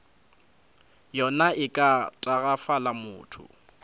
yona e ka tagafala motho